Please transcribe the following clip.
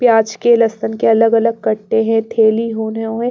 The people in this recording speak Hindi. प्याज के लहसुन के अलग-अलग कट्टे हैं थैली होने ह--